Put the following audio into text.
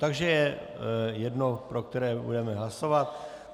Takže je jedno, pro které budeme hlasovat.